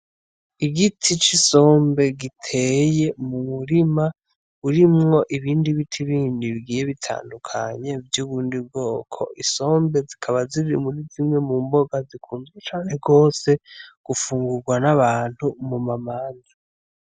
Igiti c'isombe giteye mu murima urimwo ibindi biti bindi bigiye bitandukanye vy'ubundi bwoko. Isombe zikaba ziri mu mboga zisanzwe zikundwa cane gose gufungurwa n'abantu mu manza.